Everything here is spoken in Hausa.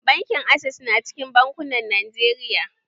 Bankin access na cikin bankunan Najeriya